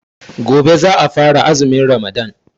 Gobe ​​za a fara azumin Ramadan.